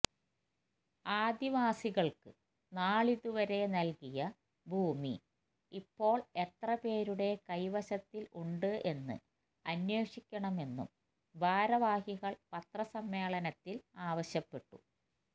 ആദിവാസികള്ക്ക് നാളിതുവരെ നല്കിയ ഭൂമി ഇപ്പോള് എത്രപേരുടെ കൈവശത്തില് ഉണ്ട് എന്ന് അന്വേഷിക്കണമെന്നും ഭാരവാഹികള് പത്രസമ്മേളനത്തില് ആവശ്യപ്പെട്ടു